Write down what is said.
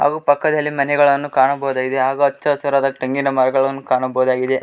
ಹಾಗು ಪಕ್ಕದಲ್ಲಿ ಮನೆಗಳನ್ನು ಕಾಣಬಹುದಾಗಿದೆ ಹಾಗು ಹಚ್ಚ ಹಸಿರಾದ ತೆಂಗಿನ ಮರಗಳನ್ನು ಕಾಣಬಹುದಾಗಿದೆ.